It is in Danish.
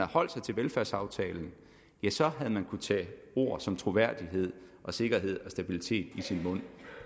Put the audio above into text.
holdt sig til velfærdsaftalen havde man kunnet tage ord som troværdighed sikkerhed og stabilitet i sin mund